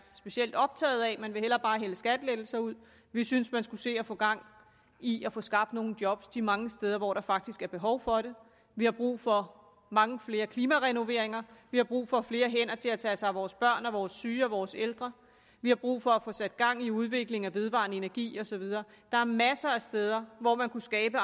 specielt optaget af man vil hellere bare hælde skattelettelser ud vi synes man skulle se at få gang i at få skabt nogle job de mange steder hvor der faktisk er behov for det vi har brug for mange flere klimarenoveringer vi har brug for flere hænder til at tage sig af vores børn vores syge og vores ældre vi har brug for at få sat gang i udvikling af vedvarende energi og så videre der er masser af steder hvor man kunne skabe